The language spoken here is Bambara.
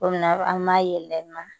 Komi an b'a yɛlɛma